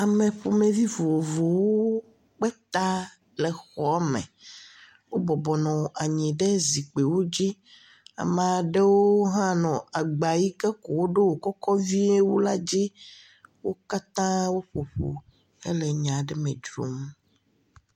Ame ƒomevi vovovowo kpe ta le xɔa me. Wobɔbɔ nɔ anyi ɖe zikpuiwo dzi. Ame aɖewo hã nɔ agba yi ke ko woɖo wokɔkɔ vie la dzi. Wo katã woƒo ƒu le nya aɖe me dzrom.